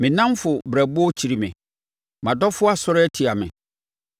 Me nnamfo berɛboɔ kyiri me; mʼadɔfoɔ asɔre atia me.